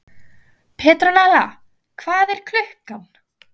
Petrónella, hvað er klukkan?